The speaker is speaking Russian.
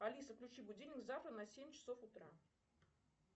алиса включи будильник завтра на семь часов утра